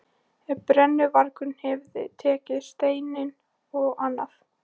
Ef brennuvargurinn hefði tekið steininn og annað